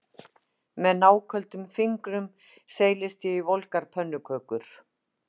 Með náköldum fingrum seilist ég í volgar pönnukökur